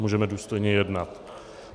Můžeme důstojně jednat.